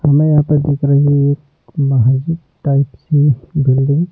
हमें यहां पर दिख रही है एक महजित टाइप सी बिल्डिंग --